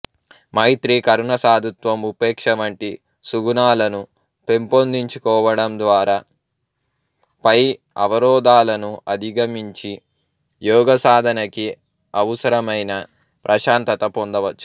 మైత్రీ కరుణ సాధుత్వం ఉపేక్షవంటి సుగుణాలను పెంపొందించుకోడంద్వారా పై అవరోధాలను అధిగమించి యోగసాధనకి అవుసరమైన ప్రశాంతత పొందవచ్చు